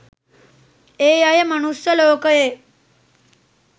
ඒ අය මනුස්ස ලෝකයේ